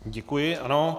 Děkuji, ano.